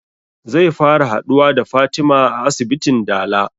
Zai fara haɗuwa da fatima a asibitin dala